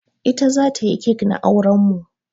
Ita za ta yi cake na auren mu.